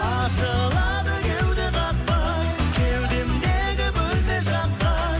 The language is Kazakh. ашылады кеуде қақпа кеудемдегі бөлме жаққа